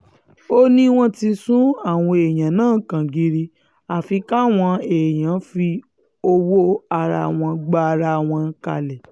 ó ní wọ́n ti sún àwọn èèyàn wa kangiri àfi káwọn um èèyàn fi owó ara wọn um gbara wọn kalẹ̀